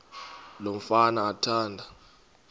lo mfana athanda